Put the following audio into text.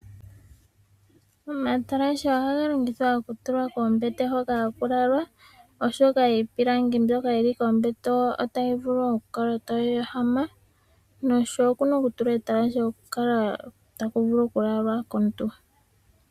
Omatalashe ohaga longithwa okutulwa koombete hoka haku lalwa, oshoka iipilangi mbyoka yili kombete otayi vulu okukala tayi ehamitha omuntu, noshowo okuna okutulwa etalashe opo kukale taku vulu okulalwa komuntu.